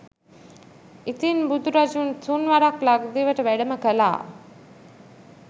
ඉතින් බුදුරජුන් තුන් වරක් ලක්දිවට වැඩම කලා